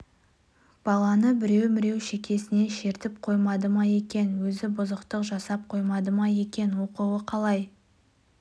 баланы біреу-міреу шекесінен шертіп қоймады ма екен өзі бұзықтық жасап қоймады ма екен оқуы қалай